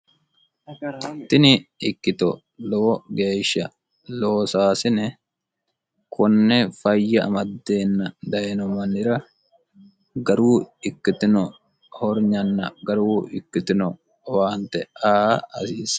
tini ikkito lowo geeshsha loosaasine konne fayya amaddeenna dayino mannira garu ikkitino horinyanna garu ikkitino owaante aa hasiisa